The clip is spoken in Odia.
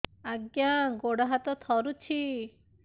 ଆଜ୍ଞା ଗୋଡ଼ ହାତ ଥରୁଛି